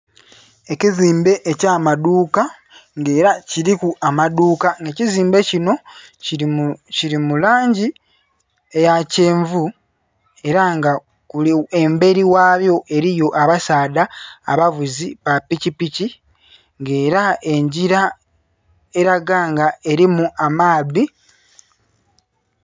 Ekizimbe eky'amaduuka nga ela kiliku amaduuka. Ekizimbe kino kili mu, kili mu langi eya kyenvu, ela nga embeli ghayo eliyo abasaadha abavuzi ba pikipiki. Nga ela engila elaga nga elimu amaadhi.